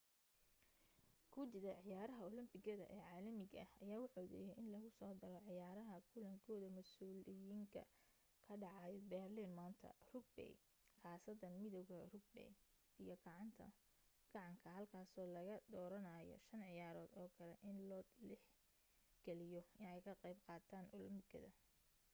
gudida ciyaaraha olobikada ee caalamiga ah ayaa u codeeyay in lagusoo daro ciyaaraha kulankooda masuuliyiinka ka dhacaya berlin maanta rugby khaasatan midawga rugby iyo gacanka halkaasoo laga dooranayo shan ciyaarood oo kale in loot ix galiyo inay ka qayb qaataan olombikada